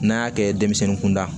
N'a y'a kɛ denmisɛnnin kunda